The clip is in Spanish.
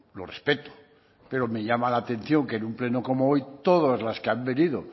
lo respeto pero me llama la atención que en un pleno como hoy todas las que han venido